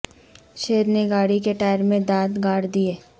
شیر نے گاڑی کے ٹائر میں دانت گاڑ دیئے